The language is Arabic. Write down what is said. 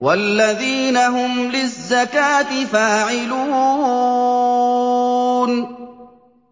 وَالَّذِينَ هُمْ لِلزَّكَاةِ فَاعِلُونَ